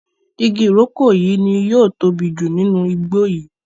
ìgi iroko yí ní yóò tóbi jù nínú igbó yí.